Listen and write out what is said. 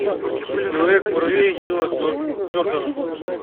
человек муравей нила джордона